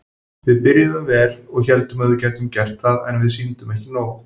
Við byrjuðum vel og héldum að við gætum gert það en við sýndum ekki nóg.